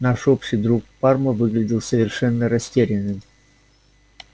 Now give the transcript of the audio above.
наш общий друг парма выглядел совершенно растерянным